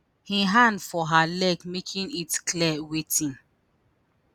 im hand for her leg making it clear wetin